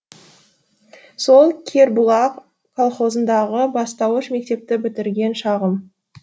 сол кербұлақ колхозындағы бастауыш мектепті бітірген шағым